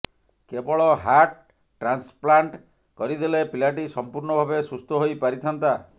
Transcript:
କେବଳ heart transplant କରିଦେଲେ ପିଲାଟି ସମ୍ପୂର୍ଣ୍ଣ ଭାବେ ସୁସ୍ଥ ହୋଇପାରିଥାନ୍ତା